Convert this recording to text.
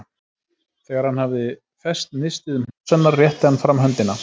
Þegar hann hafði fest nistið um háls hennar, rétti hann fram höndina.